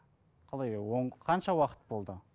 қалай қанша уақыт болды